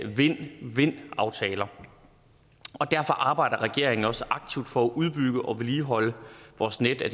vind vind aftaler og derfor arbejder regeringen også aktivt for at udbygge og vedligeholde vores net af